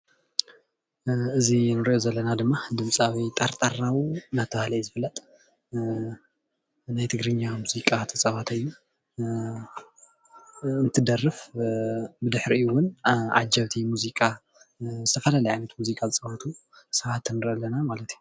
እዚ እንሪኦ ዘለና ድማ ድምፃዊ ጠርጣራው እንዳተባሃለ ዝፍለጥ ናይ ትግርኛ ሙዚቃ ዝፃወት ዝደርፍ ብድሕሪኡ ድማ ዓጀብቲ ሙዚቃ ዝተፈላለዩ ዓይነት ሙዚቃ ዝፃወቱ ሰባት ንርኢ ኣለና ማለት እዩ፡፡